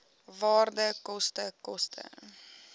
waarde koste koste